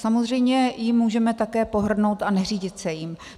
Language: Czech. Samozřejmě jím můžeme také pohrdnout a neřídit se jím.